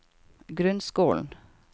grunnskolen